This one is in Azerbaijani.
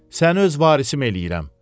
Səni öz varisim eləyirəm.